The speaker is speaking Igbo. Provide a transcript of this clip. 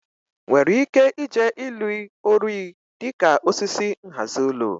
nwere ike ije ilu orui dị ka osisi nhazi ulo?